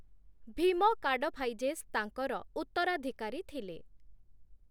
Bhima Kadphises ତାଙ୍କର ଉତ୍ତରାଧିକାରୀ ଥିଲେ ।